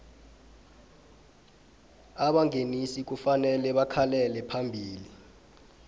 abangenisi kufanele bakhalele phambili